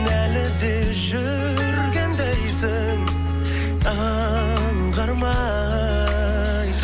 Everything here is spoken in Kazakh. әлі же жүргендейсің аңғармай